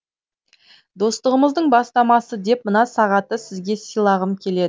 достығымыздың бастамасы деп мына сағатты сізге сыйлағым келеді